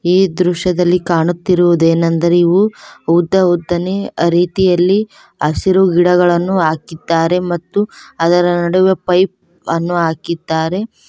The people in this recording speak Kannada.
ಈ ದೃಶ್ಯದಲ್ಲಿ ಕಾಣುತ್ತಿರುವುದೇನೆಂದರೆ ಇವು ಉದ್ದ ಉದ್ದನೆ ರೀತಿಯಲ್ಲಿ ಹಸಿರು ಗಿಡಗಳನ್ನು ಹಾಕಿದ್ದಾರೆ ಮತ್ತು ಅದರ ನಡುವೆ ಪೈಪ್ ಅನ್ನು ಹಾಕಿದ್ದಾರೆ.